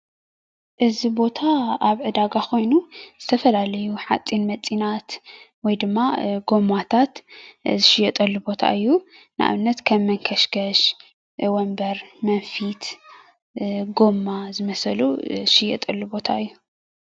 እዚ ቦታ ኣብ ዕዳጋ ኮይኑ ዝተፈላለዩ ሓፂነ መፂናት ወይ ድማ ጎማታት ዝሽየጠሉ ቦታ እዩ ንኣብነት ከም መንከሽከሽ፣ ወንበር፣ መንፊት፣ ጎማ ዝመሰሉ ዝሽየጠሉ ቦታ እዩ፡፡